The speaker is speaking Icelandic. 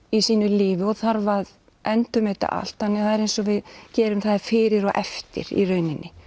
í sínu lífi og þarf að endurmeta allt það er eins og við gerum það fyrir og eftir í rauninni